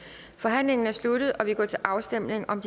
forhandlingen er sluttet og vi går til afstemning om